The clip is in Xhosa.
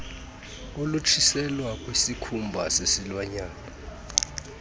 olutshiselwa kwisikhumba sesilwanyana